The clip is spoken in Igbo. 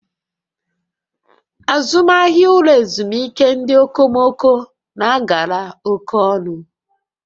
Azụmahịa ụlọ ezumike ndị okomoko na agara oke ọnụ